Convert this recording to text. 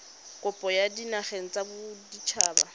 kopo kwa dinageng tsa baditshaba